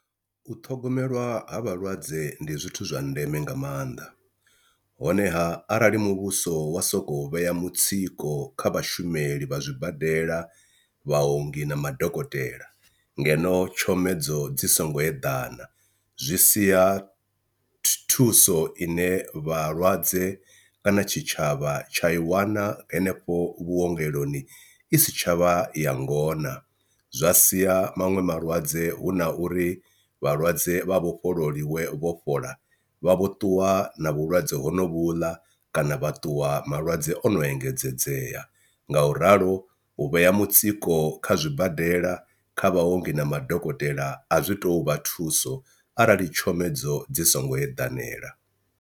U ṱhogomelwa ha vhalwadze ndi zwithu zwa ndeme nga maanḓa honeha arali muvhuso wa sokou vhea mutsiko kha vhashumeli vha zwibadela, vhaongi na madokotela ngeno tshomedzo dzi songo eḓana zwi sia thuso ine vhalwadze kana tshitshavha tsha i wana henefho vhuongeloni i si tsha vha ya ngona, zwa sia maṅwe malwadze hu na uri vhalwadze vha vhofhololiwe vho fhola vha vho ṱuwa na vhulwadze honovhuḽa kana vha ṱuwa malwadze o no engedzedzea. Nga u ralo u vhea mutsiko kha zwibadela, kha vhaongi na madokotela a zwi tou vha thuso arali tshomedzo dzi songo eḓanela.